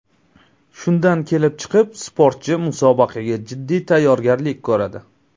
Shundan kelib chiqib, sportchi musobaqaga jiddiy tayyorgarlik ko‘radi.